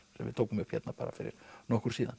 sem við tókum upp fyrir nokkru síðan